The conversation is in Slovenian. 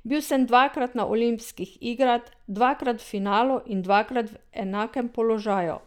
Bil sem dvakrat na olimpijskih igrah, dvakrat v finalu in dvakrat v enakem položaju.